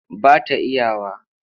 Ba ta iya wa.